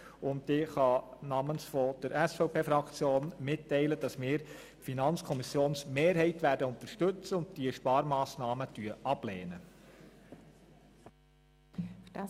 Ich kann namens der SVP-Fraktion mitteilen, dass wir die FiKo-Mehrheit unterstützen und diese Sparmassnahmen ablehnen werden.